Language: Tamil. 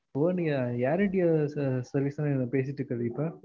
Hello நீங்க air india service அ நீங்க பேசிட்டு இருக்க